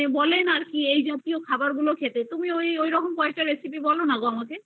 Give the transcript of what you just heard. এই জাতীয় খাবার খেতে তুমি ঐরকম কয়েকটা recipe বলোনা আমাকে